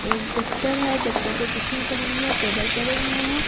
एक दफ्तर है दफ्तर पे कुर्सियां पड़ी हुई है टेबल पड़े हुए हैं।